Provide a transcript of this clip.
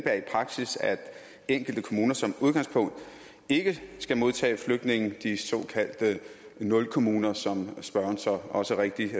praksis at enkelte kommuner som udgangspunkt ikke skal modtage flygtninge de såkaldte nulkommuner som spørgeren så også rigtigt